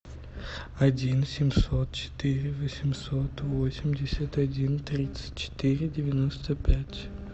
один семьсот четыре восемьсот восемьдесят один тридцать четыре девяносто пять